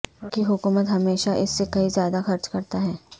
وفاقی حکومت ہمیشہ اس سے کہیں زیادہ خرچ کرتا ہے